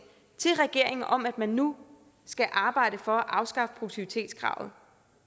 til regeringen om at man nu skal arbejde for at afskaffe produktivitetskravet